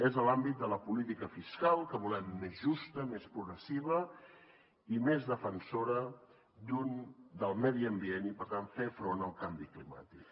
és en l’àmbit de la política fiscal que volem més justa més progressiva i més defensora del medi ambient i per tant fer front al canvi climàtic